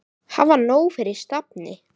Hafa nóg fyrir stafni.